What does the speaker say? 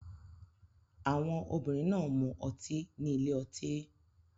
Àwọn obìnrin náà ń mu ọtí ní ilé ọtí